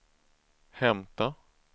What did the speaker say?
hämta